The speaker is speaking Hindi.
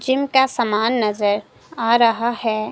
चिम का समान नजर आ रहा हैं।